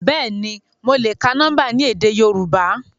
Bẹ́ẹ̀ni, mo le ka nọmba ni édé Yorùbá.